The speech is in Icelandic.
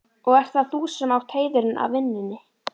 Og ert það þú sem átt heiðurinn af vinnunni?